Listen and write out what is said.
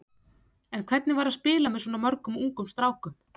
En hvernig var að spila með svona mörgum ungum strákum?